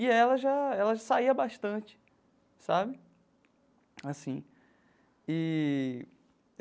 E ela já ela saía bastante sabe assim eee.